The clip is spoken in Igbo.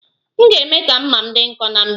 M ga- eme ka mma m dị nkọ ná mgbede.